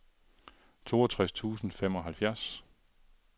toogtres tusind og femoghalvfjerds